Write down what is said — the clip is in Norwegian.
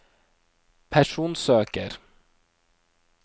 personsøker